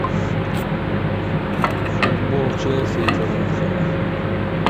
футбол челси и тоттенхэма